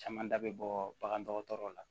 Caman da bɛ bɔ bagan dɔgɔtɔrɔw la